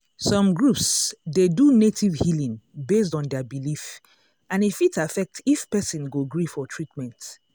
some groups dey do native healing based on their belief and e fit affect if person go gree for treatment.